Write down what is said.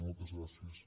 moltes gràcies